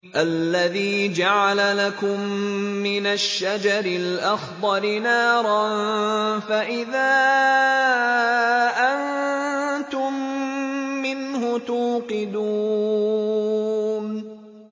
الَّذِي جَعَلَ لَكُم مِّنَ الشَّجَرِ الْأَخْضَرِ نَارًا فَإِذَا أَنتُم مِّنْهُ تُوقِدُونَ